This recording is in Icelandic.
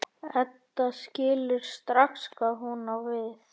Edda skilur strax hvað hún á við.